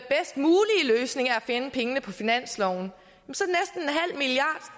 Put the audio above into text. finde pengene på finansloven så